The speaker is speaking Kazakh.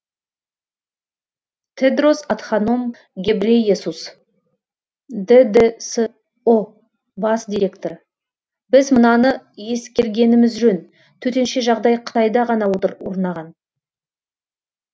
тедрос адханом гебрейесус ддсұ бас директоры біз мынаны ескергеніміз жөн төтенше жағдай қытайда ғана орнаған